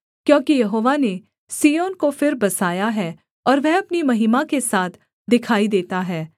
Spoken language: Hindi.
क्योंकि यहोवा ने सिय्योन को फिर बसाया है और वह अपनी महिमा के साथ दिखाई देता है